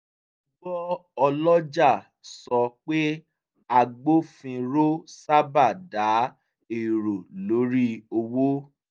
mo gbọ́ ọlọ́jà sọ pé agbófinró sábà dá èrò lórí owó